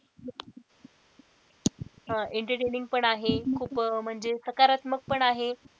entertaining पण आहे खूप म्हणजे सकारात्मक पण आहे.